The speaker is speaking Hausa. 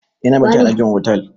Eh ya na bacci a ɗakin otal.